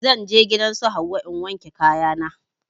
Zan je gidan su Hauwa in wanke kaya na